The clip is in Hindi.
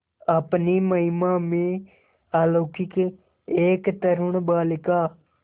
अपनी महिमा में अलौकिक एक तरूण बालिका